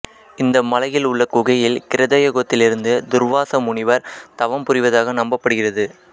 இந்த மலையில் உள்ள குகையில் கிருதயுகத்திலிருந்து துா்வாச முனிவா் தவம் புாிவதாக நம்பப்படுகிறது